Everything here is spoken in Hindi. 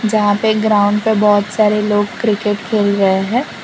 यहां पे ग्राउंड पे बहुत सारे लोग क्रिकेट खेल रहे हैं।